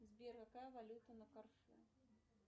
сбер какая валюта на карте